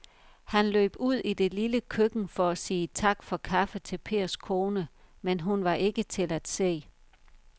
Han løb ud i det lille køkken for at sige tak for kaffe til Pers kone, men hun var ikke til at se.